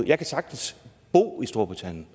jeg kan sagtens bo i storbritannien